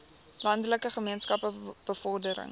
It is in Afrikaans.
landelike gemeenskappe bevordering